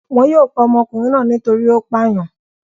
Wọn yóò pa ọmọkùnrin náà nítorí ó pàyàn.